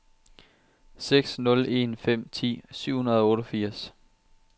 seks nul en fem ti syv hundrede og otteogfirs